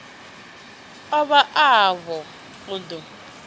u bva afho u ḓo